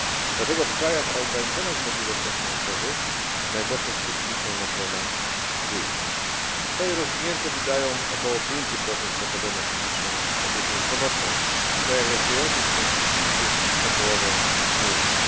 Dlatego w krajach o ograniczonych możliwościach finansowych najgorsze skutki są na terenach wiejskich. Kraje rozwinięte wydają około 5 PKB na publiczną opiekę zdrowotną, w krajach rozwijających się ten współczynnik jest o połowę mniejszy.